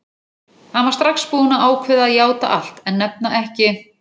Hann var strax búinn að ákveða að játa allt en nefna ekki